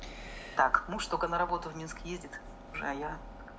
так муж только на работу в минск ездит уже а я